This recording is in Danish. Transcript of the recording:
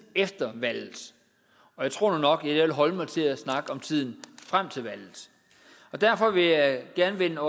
efter valget og jeg tror nu nok jeg vil holde mig til at snakke om tiden frem til valget og derfor vil jeg gerne vende